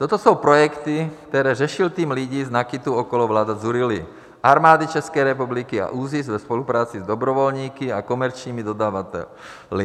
Toto jsou projekty, které řešil tým lidí z NAKITu okolo Vlado Dzurilly, armády České republiky a ÚZIS ve spolupráci s dobrovolníky a komerčními dodavateli.